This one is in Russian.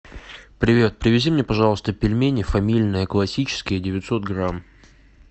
привет привези мне пожалуйста пельмени фамильные классические девятьсот грамм